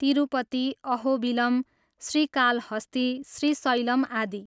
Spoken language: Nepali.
तिरुपति, अहोबिलम, श्रीकालहस्ती, श्रीशैलम आदि।